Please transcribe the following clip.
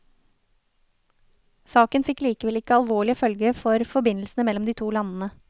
Saken fikk likevel ikke alvorlige følger for forbindelsene mellom de to landene.